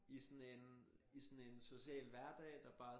I sådan en i sådan en social hverdag der bare